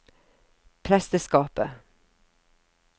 presteskapet